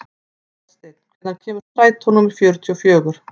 Oddsteinn, hvenær kemur strætó númer fjörutíu og fjögur?